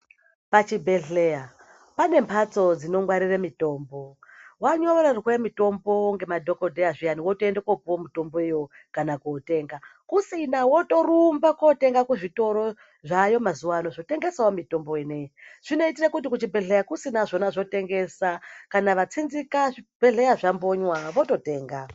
Pachibhedhleya pane mphatso dzinongwarire mutombo. Wanyorerwe mitombo ngemadhokodheya zviyani wotoende kopuwe mitomboyo kana kootenga. Kusina wotorumba kootenga kuzvitoro, zvaayo mazuwaano, zvotengesawo mitombo ineyi. Zvinoitire kuti kuchibhedhleya kusina zvona zvotengesa. Kana vatsinzika zvibhedhleya zvambonywa vototenga.